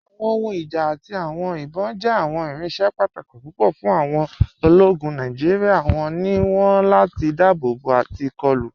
Awọn ohùn ìjá àti awọn ìbọn jẹ́ awọn irinṣẹ̀ pàtàkì pupọ̀ fún awọn òlógún Nàìjíríà. Wọn ló wọn láti dáàbòbò àti kọ̀lù.